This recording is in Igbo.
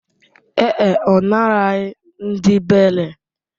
Ee e, ọ naraghị ndị beiley